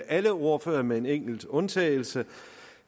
alle ordførere med en enkelt undtagelse